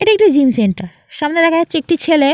এটা একটি gym centre সামনে দেখা যাচ্ছে একটি ছেলে।